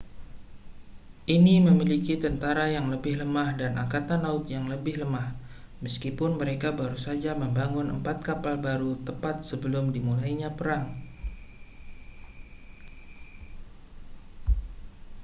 ini memiliki tentara yang lebih lemah dan angkatan laut yang lebih lemah meskipun mereka baru saja membangun empat kapal baru tepat sebelum dimulainya perang